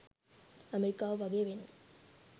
ඇමෙරිකාව වගේ වෙන්න.